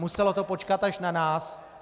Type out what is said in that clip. Muselo to počkat až na nás.